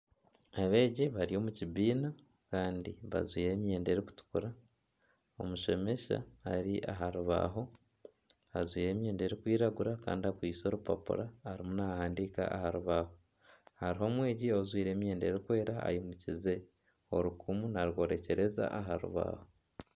Abeegi bari omu kibiina kandi bajwaire emyenda erikutukura. Omushomesa ari aha rubaaho ajwaire emyenda erikwiragura kandi akwitse orupapura arimu nahandiika aha rubaaho. Hariho omwegi ojwaire emyenda erikwera ayimukize orukumu naryorekyereza aha rubaaho